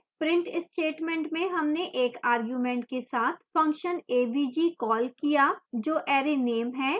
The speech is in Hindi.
print statement में हमने एक argument के साथ function avg कॉल किया जो array name है